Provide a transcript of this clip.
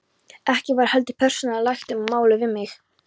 Ekki var heldur persónulega rætt um þetta mál við mig.